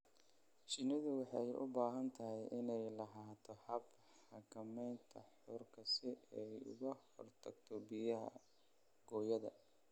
Shinnidu waxay u baahan tahay inay lahaato habab xakamaynta huurka si ay uga hortagto biya-gooyada.